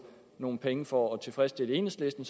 nogle penge for at tilfredsstille enhedslisten